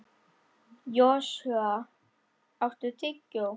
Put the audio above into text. Joshua, áttu tyggjó?